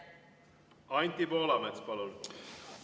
Anti Poolamets, palun!